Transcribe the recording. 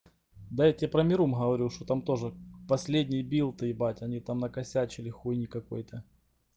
да я тебе про мирум говорю что там тоже последние билты ебать они там накосячили хуйни какой-то